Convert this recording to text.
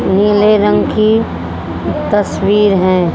नीले रंग की तस्वीर हैं।